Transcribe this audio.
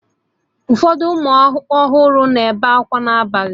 Ụfọdụ ụmụ ọhụrụ na-ebe akwa n'abalị